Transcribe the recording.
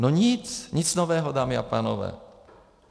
No nic, nic nového, dámy a pánové.